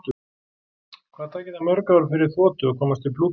Hvað tæki það mörg ár fyrir þotu að komast til Plútó?